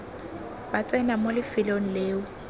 ba tsena mo lefelong leo